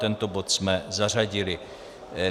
Tento bod jsme zařadili.